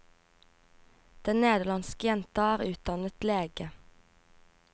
Den nederlandske jenta er utdannet lege.